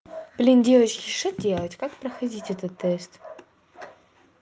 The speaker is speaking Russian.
блин девочки что делать как проходить этот тест